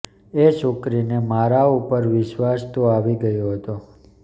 એ છોકરીને મારા ઉપર વિશ્વાસ તો આવી ગયો હતો